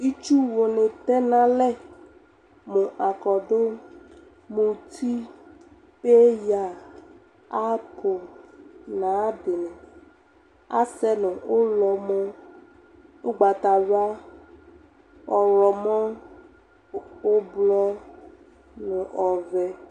Itsuwu ne tɛ nalɛ mo akɔdu, muti, peya apoo na dene Asɛ no ulɔ mo ugbatawla, ɔwlɔmɔ, ublɔ no ɔvɛ